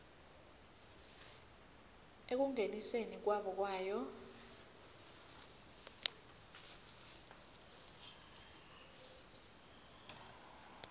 ekungeniseni kwabo kwayo